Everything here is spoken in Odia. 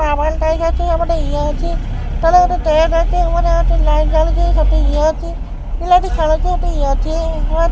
ହେପଟେ ଇଏ ଅଛି। ତଳେ ଗୋଟେ ତେଣ୍ଟ୍ ଅଛି। ଉପରେ ଗୋଟେ ଲାଇଟ୍ ଜଳୁଚି। ସେଠି ଇଏ ଅଛି ପିଲାଟି ଖେଳୁଛି। ହେଟି ଇଏ ଅଛି।